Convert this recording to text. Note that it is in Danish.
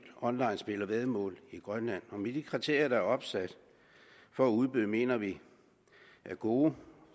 onlinespil og væddemål i grønland og de kriterier der er opsat for udbydere mener vi er gode